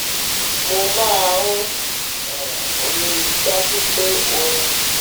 mo máa n um rí i dájú pé orin